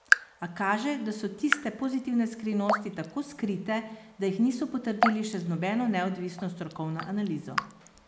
A kaže, da so tiste pozitivne skrivnosti tako skrite, da jih niso potrdili še z nobeno neodvisno strokovno analizo.